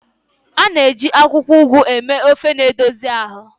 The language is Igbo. A na-eji akwụkwọ Ugu eme ofe na-edozi ahụ.